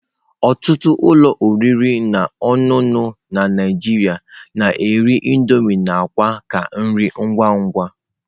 Ọtụtụ ụlọ oriri na ọṅụṅụ na Naijiria na-ere Indomie na akwa ka nri ngwa ngwa.